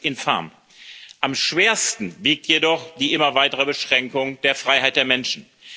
Das ist infam. Am schwersten wiegt jedoch die immer weitere Beschränkung der Freiheit der Menschen.